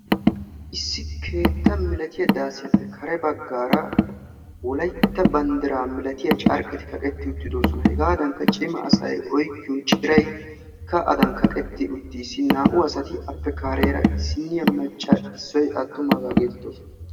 Issi keetta milatiyaa daasiyappe kare baggaara wolaytta banddiraa malatiyaa carqeti kaqetti uttidosona. hegaadanikka cima asay oyqqiyoo ciray adan kaqetti uttiis. naa"u appe kareera issiniyaa maaccaro issoy attumagaa geetettoosona.